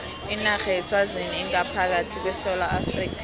inarha yeswazini ingaphakathi kwesewula afrika